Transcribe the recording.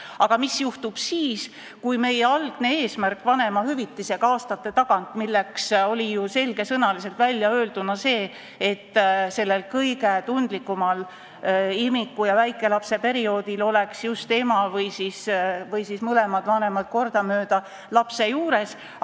Aga meie algne eesmärk aastate eest vanemahüvitist luues oli ju selgesõnaliselt väljaöelduna see, et sellel kõige tundlikumal imiku- ja väikelapseperioodil oleks just ema või mõlemad vanemad kordamööda lapse juures.